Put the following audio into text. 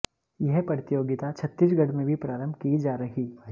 यह प्रतियोगिता छत्तीसगढ़ में भी प्रारंभ की जा रही